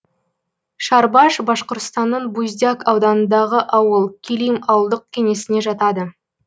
шарбаш башқұртстанның буздяк ауданындағы ауыл килим ауылдық кеңесіне жатады